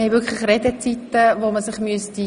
Wir haben Redezeiten, an die man sich halten müsste.